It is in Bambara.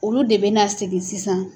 Olu de bɛ na sigi sisan.